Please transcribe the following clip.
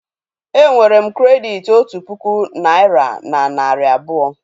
È nwere m krèditi otu puku naị́ra na narị abụọ